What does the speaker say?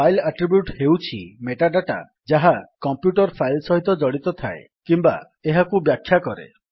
file attribute ହେଉଛି metadata ଯାହା computer file ସହିତ ଜଡିତ ଥାଏ କିମ୍ୱା ଏହାକୁ ବ୍ୟାଖ୍ୟା କରେ